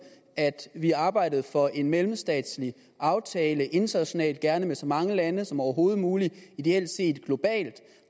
at vi arbejdede for en mellemstatslig aftale internationalt gerne med så mange lande som overhovedet muligt og ideelt set globalt